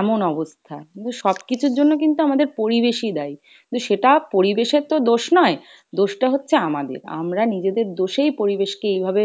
এমন অবস্থা। কিন্তু সবকিছুর জন্য কিন্তু আমাদের পরিবেশই দায়ী, কিন্তু সেটা পরিবেশের তো দোষ নয়, দোষটা হচ্ছে আমাদের আমরা নিজেদের দোষেই পরিবেশ কে এইভাবে